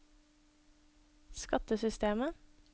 skattesystemet